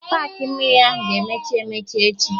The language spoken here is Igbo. Paakị mmiri ahụ ga-emechi emechi echi